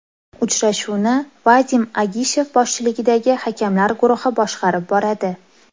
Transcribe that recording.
Uchrashuvni Vadim Agishev boshchiligidagi hakamlar guruhi boshqarib boradi.